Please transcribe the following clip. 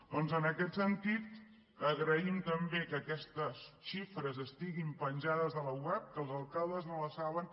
doncs en aquest sentit agraïm també que aquestes xifres estiguin penjades a la web que els alcaldes no les saben